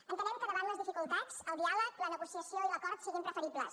entenem que davant les dificultats el diàleg la negociació i l’acord siguin preferibles